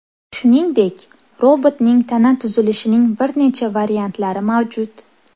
Shuningdek, robotning tana tuzilishining bir necha variantlari mavjud.